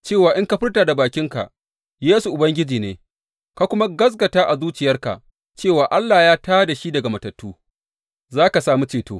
Cewa in ka furta da bakinka, Yesu Ubangiji ne, ka kuma gaskata a zuciyarka cewa Allah ya tā da shi daga matattu, za ka sami ceto.